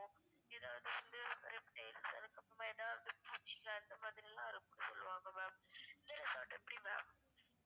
எதாவது சேர்ந்து reptiles அதுக்கு அப்றமா எதாவது பூச்சிங்க அந்த மாதிரி எல்லாம் இருக்கும் சொல்லுவாங்க ma'am இந்த resort எப்டி ma'am